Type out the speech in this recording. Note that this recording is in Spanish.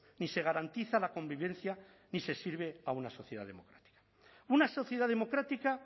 ni se garantiza la convivencia ni se sirve a una sociedad democrática una sociedad democrática